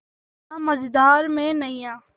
ना मझधार में नैय्या